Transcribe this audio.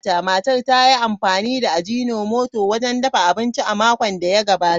Matar ta yi amfani da Agino moto wajen dafa abinci a makon da ya gabata.